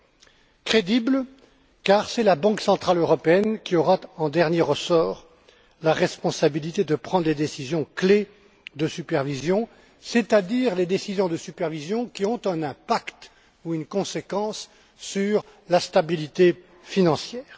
Ce système est crédible car c'est la Banque centrale européenne qui aura, en dernier ressort, la responsabilité de prendre les décisions clés de supervision, c'est à dire celles qui ont un impact ou une conséquence sur la stabilité financière.